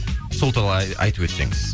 сол айтып өтсеңіз